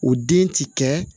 O den ti kɛ